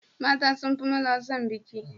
mata sunfi maza son biki